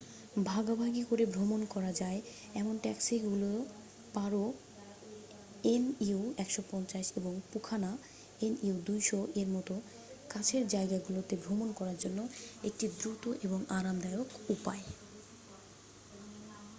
ভাগাভাগি করে ভ্রমন করা যায় এমন ট্যাক্সিগুলো পারো এনইউ ১৫০ এবং পুনাখা এনইউ ২০০ এর মতো কাছের জায়গাগুলোতে ভ্রমণ করার জন্য একটি দ্রুত এবং আরামদায়ক উপায়।